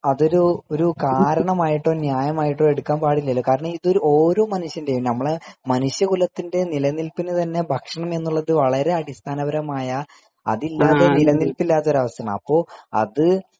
അതൊരു കാരണമായിട്ടോ ന്യായമായിട്ടോ ഒരിക്കലും എടുക്കാൻ പാടില്ലല്ലോ കാരണം ഇതൊരു നമ്മുടെ മനുഷ്യകുലത്തിന്റെ നിലനിൽപ്പിന് ഭക്ഷണം എന്നുള്ളത് വളരെ അടിസ്ഥാനപരമായ അതില്ലാതെ നില നിൽപ്പിലാത്ത ഒരു അവസ്ഥയാണ് അപ്പോ അത്